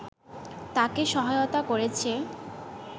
তাকে সহায়তা করেছে